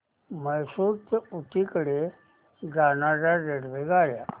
म्हैसूर ते ऊटी कडे जाणार्या रेल्वेगाड्या